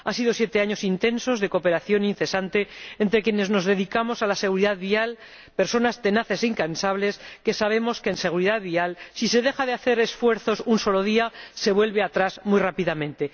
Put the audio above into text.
Han sido siete años intensos de cooperación incesante entre quienes nos dedicamos a la seguridad vial, personas tenaces e incansables que sabemos que, en seguridad vial, si se dejan de hacer esfuerzos un solo día, se vuelve atrás muy rápidamente.